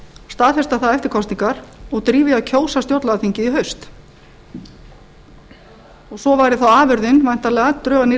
staðfesta það eftir kosningar og drífa í því að kjósa stjórnlagaþingið í haust svo væri þá afurðin væntanlega drög að nýrri